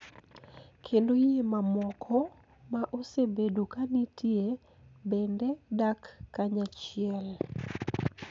Kendo yie mamoko ma osebedo ka nitie bende dak kanyachiel.